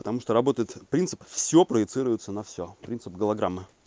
потому что работает принцип всё проецируется на всё принцип галограммы